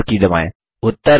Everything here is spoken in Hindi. और एंटर की दबाएँ